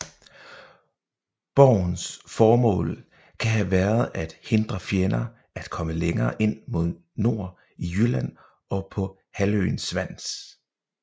Borgens formål kan have været at hindre fjender at komme længere ind mod nord i Jylland og på halvøen Svans